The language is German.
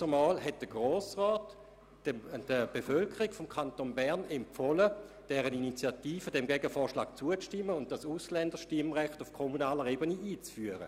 Damals hat der Grosse Rat der Bevölkerung des Kantons Bern empfohlen, diesem Gegenvorschlag zuzustimmen und das fakultative Ausländerstimmrecht auf kommunaler Ebene einzuführen.